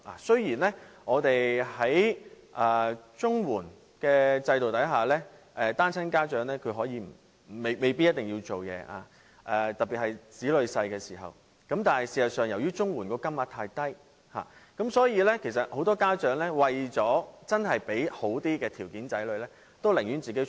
雖然在綜援制度下，單親家長不一定需要工作，特別是當子女還年幼的時候，但事實上，由於綜援金額太低，很多家長為了讓子女有好一點的生活條件，他們寧願外出工作。